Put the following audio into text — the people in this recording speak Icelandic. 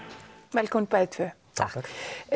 velkomin bæði tvö takk